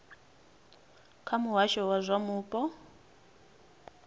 kha muhasho wa zwa mupo